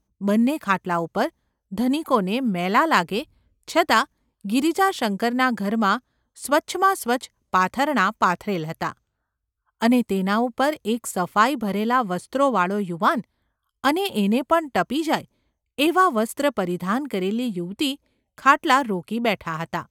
બંને ખાટલા ઉપર ધનિકોને મેલાં ​ લાગે છતાં ગિરિજાશંકરના ઘરમાં સ્વચ્છાંમાં સ્વચ્છ પાથરણાં પાથરેલ હતાં, અને તેના ઉપર એક સફાઈ ભરેલાં વસ્ત્રોવાળો યુવાન અને એને પણ ટપી જાય એવાં વસ્ત્રપરિધાન કરેલી યુવતી ખાટલા રોકી બેઠાં હતાં.